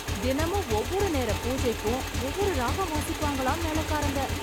தினமும் ஒவ்வொரு நேர பூஜைக்கும் ஒவ்வொரு ராகம் வாசிப்பாங்களாம் மேளக்காரங்க!